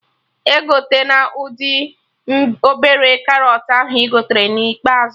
Egotena ụdị obere karọt ahụ ị gotere na ikpeazụ